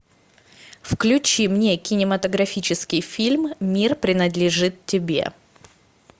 включи мне кинематографический фильм мир принадлежит тебе